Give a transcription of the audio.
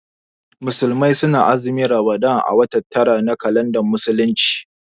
Musulmai su na azumin Ramadan a watan tara na kalandar musulunci